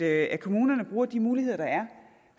at kommunerne bruger de muligheder der er